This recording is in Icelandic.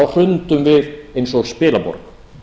hrundum við eins og spilaborg